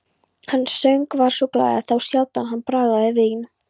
Hann söng og var glaður, þá sjaldan hann bragðaði vín.